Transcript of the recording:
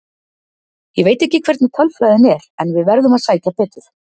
Ég veit ekki hvernig tölfræðin er en við verðum að sækja betur.